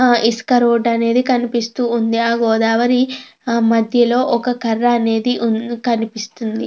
చాలా నీళ్లు కూడా మనం ఈ గోదావరిలో మనం చూడవచ్చు. ఇక్కడ స్నానములు కూడా చేస్తారు భక్తులు.